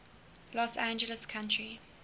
los angeles county